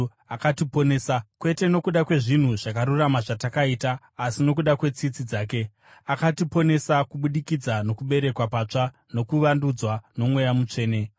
akatiponesa, kwete nokuda kwezvinhu zvakarurama zvatakaita, asi nokuda kwetsitsi dzake. Akatiponesa kubudikidza nokuberekwa patsva nokuvandudzwa noMweya Mutsvene,